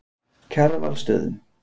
Kjarvalsstöðum